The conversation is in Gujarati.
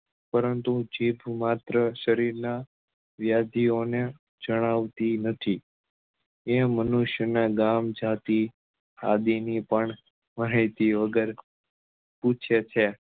પરંતુ જીભ માત્ર સરીર નાં વ્યાધિઓ ને જણાવતી નથી એ મનુષ્ય નાં ગામ જાતી આદિ ની પણ માહિતીઓ ઘર પૂછે છે